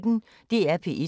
DR P1